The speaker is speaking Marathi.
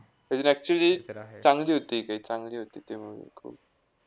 लेकिन actually चांगली होती, काही चांगली होती. ते movie